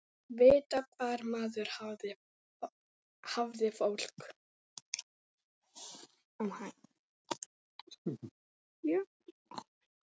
Vita hvar maður hafði fólk.